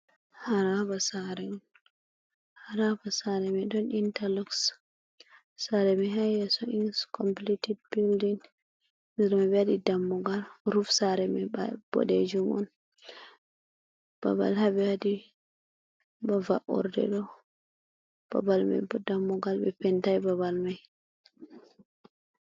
Haraba saare mai ɗon inta lox sare mai ha yeso in complited bilding, nder mai ɓe waɗi dammugal ruf sare mai bodejim on, babal haɓe waɗi bava’ordedo babal mai bo dammugal ɓe pentai babal mai.